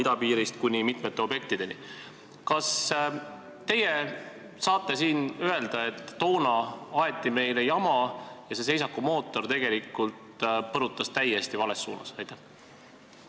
Kas teie võiksite siin öelda, et toona aeti meile jama ja see seisakumootor tegelikult pani masina täiesti vales suunas põrutama?